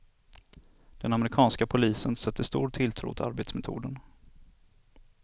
Den amerikanska polisen sätter stor tilltro till arbetsmetoden.